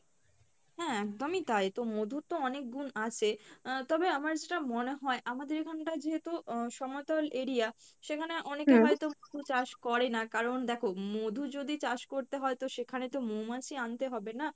হ্যাঁ একদমই টাই তো মধুর তো অনেক গুন আছে আহ তবে আমার যেটা মনে হয়, আমাদের এখানটা যেহেতু আহ সমতল area সেখানে অনেকে হয়তো, মধু চাষ করে না কারন দেখো মধু যদি চাষ করতে হয় তো সেখানে তো মৌমাছি আনতে হবে না?